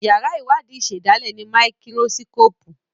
yàrá Iwadi ìsèdálè ní Máíkírósíkópù